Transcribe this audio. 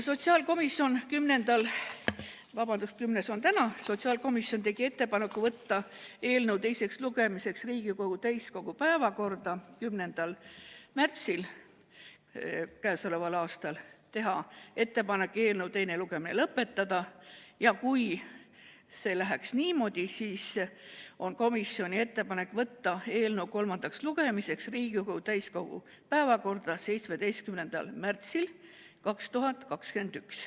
Sotsiaalkomisjon tegi ettepaneku võtta eelnõu teiseks lugemiseks Riigikogu täiskogu päevakorda 10. märtsiks, teha ettepanek eelnõu teine lugemine lõpetada ja kui see läheb niimoodi, siis on komisjoni ettepanek võtta eelnõu kolmandaks lugemiseks Riigikogu täiskogu päevakorda 17. märtsiks 2021.